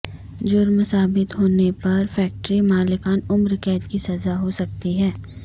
جرم ثابت ہونے پر فیکٹری مالکان عمر قید کی سزا ہو سکتی ہے